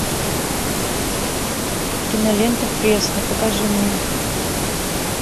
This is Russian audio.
кинолента фресно покажи мне